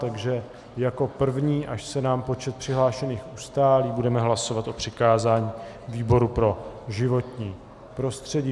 Takže jako první, až se nám počet přihlášených ustálí, budeme hlasovat o přikázání výboru pro životní prostředí.